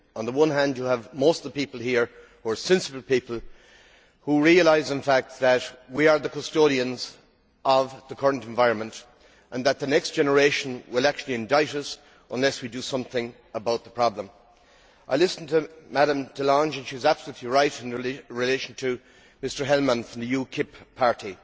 On the one hand you have most of the people here, the more sensible people, who realise in fact that we are the custodians of the current environment and that the next generation will actually indict us unless we do something about the problem. I listened to Ms de Lange and she was absolutely right in relation to Mr Helmer from the UKIP Party.